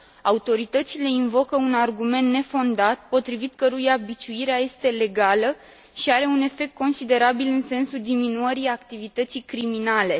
Autoritățile invocă un argument nefondat, potrivit căruia biciuirea este legală și are un efect considerabil, în sensul diminuării activității criminale.